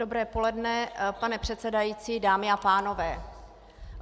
Dobré poledne, pane předsedající, dámy a pánové.